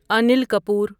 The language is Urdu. انیل کپور